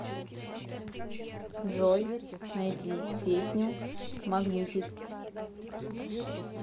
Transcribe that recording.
джой найди песню магнитист